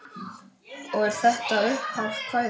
Og er þetta upphaf kvæðis: